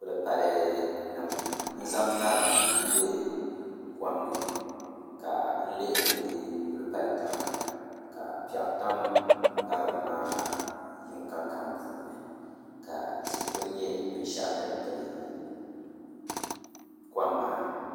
Kulipali nim n zaŋ ŋarim n bɛ kom ni ka lihiri bi kulipali taba ka piɛɣu tam ŋarim maa yinga kam puuni ka tihi ku nyɛ binshaɣu din gili kom maa